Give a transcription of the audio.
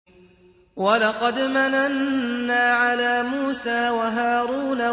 وَلَقَدْ مَنَنَّا عَلَىٰ مُوسَىٰ وَهَارُونَ